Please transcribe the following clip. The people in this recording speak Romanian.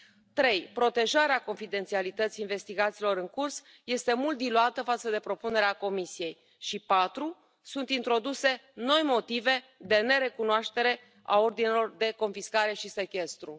Trei protejarea confidențialității investigațiilor în curs este mult diluată față de propunerea Comisiei și patru sunt introduse noi motive de nerecunoaștere a ordinelor de confiscare și sechestru.